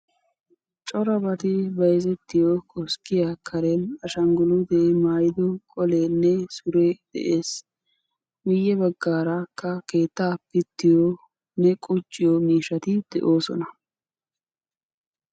corabati bayzzettiyo koskkiya karen ashanguluutee maayido qoleenne suree de'ees. miye bagaarakka keetaa pittiyo woykko qucciyobati de'oosona.